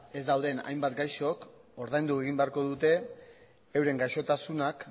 ez dauden hainbat gaixok ordaindu egin beharko dute euren gaixotasunak